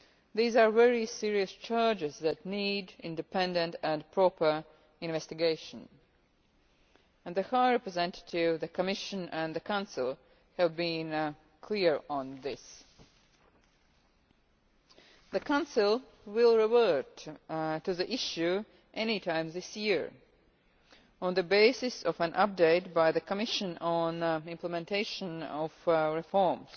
These are very serious charges that need independent and proper investigation and the High Representative of the Union and the Council has been clear on this. The Council will revert to the issue any time this year on the basis of an update by the Commission on implementation of reforms,